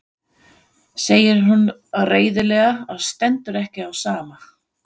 segir hún reiðilega og stendur ekki á sama.